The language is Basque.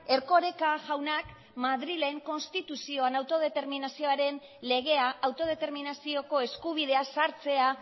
erkoreka jaunak madrilen konstituzioan autodeterminazioaren legea autodeterminazioko eskubidea sartzea